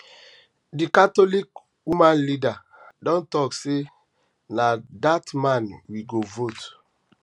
d catholic woman leader don talk say na that man we go vote